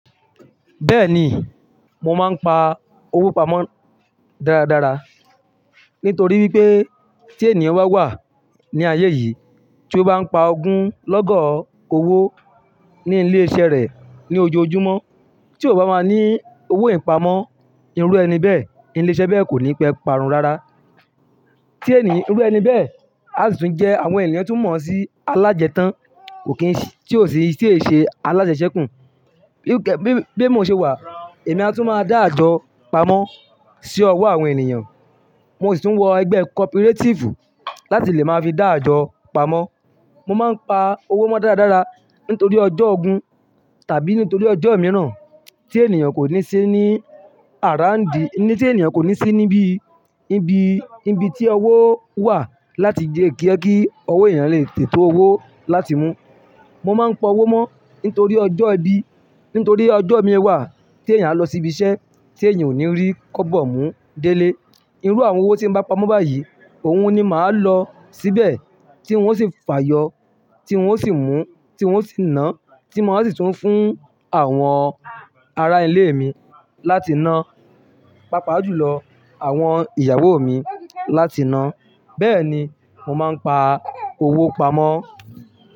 Bẹ́ẹ̀ni, mo máa ń pa owó pamọ́ dáradára nítorí wípé tí ènìyàn bá wà ní ayé yìí, tí ó bá ń pa ogún lọ́gọ́ owó ní ilé iṣẹ́ rẹ̀ ní ojoojúmọ́, tí ò bá máa ní owó ìpamọ́, irú ẹni bẹ́ẹ̀, ilé iṣẹ́ bẹ́ẹ̀ kò ní pẹ́ parun rara. Tí ẹni, irú ẹni bẹ́ẹ̀ a sì tún jẹ àwọn ènìyàn tó mọ̀ sí alájẹ tán, kò kí n sì, tí ò sì ṣe alájẹsẹkù. Bí, bí mó ṣe wà, èmi a tún máa dá àjọ pamọ́ sí owó àwọn ènìyàn. Mo sì tún wọ ẹgbẹ́ kọ́púrerétífù láti lè máa fi dá àjọ pamọ́. Mo máa ń pa owó mó dáradára nítorí ọjọ́ ogún tàbí nítorí ọjọ́ mìíràn tí ènìyàn kò ní sí ní àráǹdi, tí ènìyàn kò ní sí níbi, ibi, ibi tí owó wà láti lẹ́ jẹ owó ènìyàn lè tètè tó owó láti mú. Mo máa ń pa owó mó nítorí ọjọ́ ibi, nítorí ọjọ́ mi wà tí ènìyàn lọ síbi iṣẹ́ tí ènìyàn ò ní rí kóbọ̀ mú délé. Irú àwọn owó tí mo bá pa mó báyìí òun ni màá lọ síbẹ̀ tí wọn ó sì fàyọ́, tí wọn ó sì mú, tí wọn ó sì ná, tí mo á sì tún fún àwọn ará ilé mi láti ná, pàápàá jùlọ àwọn ìyàwó mi láti ná. Bẹ́ẹ̀ni, mo máa ń pa owó pamọ́.